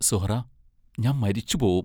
സുഹ്റാ, ഞാൻ മരിച്ചുപോകും!